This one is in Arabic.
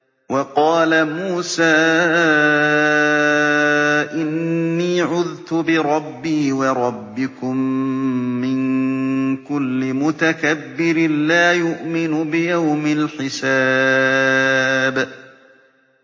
وَقَالَ مُوسَىٰ إِنِّي عُذْتُ بِرَبِّي وَرَبِّكُم مِّن كُلِّ مُتَكَبِّرٍ لَّا يُؤْمِنُ بِيَوْمِ الْحِسَابِ